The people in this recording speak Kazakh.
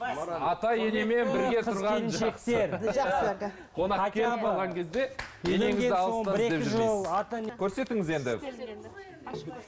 көрсетіңіз енді